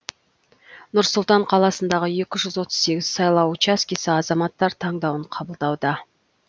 нұр сұлтан қаласындағы екі жүз отвыз сегіз сайлау учаскесі азаматтар таңдауын қабылдауда